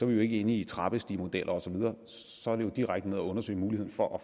vi jo ikke inde i trappestigemodeller og så videre så er det jo direkte at undersøge muligheden for at